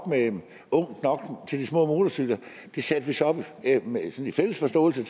til de små motorcykler det satte vi så i fælles forståelse